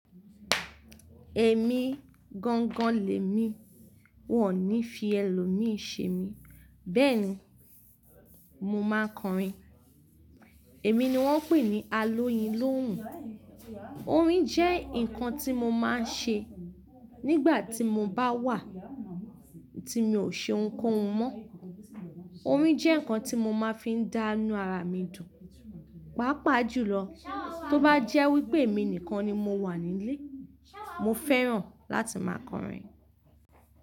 Ẹ̀mí gangan lẹ́mi, wọn ò ní fi ẹlòmíì ṣe mí, bẹ́ẹ̀ni mo máa kọrin. Èmi ni wọ́n ń pè ní alóyin lóhùn. Orin jẹ́ nǹkan tí mo máa ń ṣe nígbà tí mo bá wà tí mi ò ṣe ohunkóhun mọ́. Orin jẹ́ nǹkan tí mo máa fi ń dánù ara mi dùn. Pàápàá jùlọ tó bá jẹ́ wípé èmi nìkan ni mo wà nílé, mo fẹ́ràn láti máa kọrin.